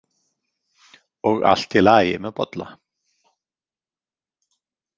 Og allt í lagi með Bolla?